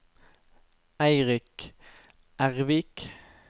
Eirik Ervik